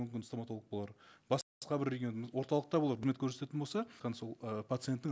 мүмкін стоматолог болар бір регион орталықта ол үкімет көрсететін болса сол э пациенттің